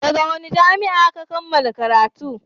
daga wani jami'a Ka kammala karatu?